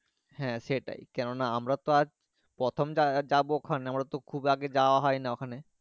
হ্যাঁ সেটাই কেন না আমার তো আর প্রথম জাগা যাবো এখানে খুব আগে যাওয়া হয়নি ওখানে